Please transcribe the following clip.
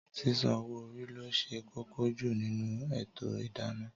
Sísan owó orí lo ṣe kókó jù nínú ètò idana